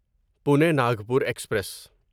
Pune Nagpur express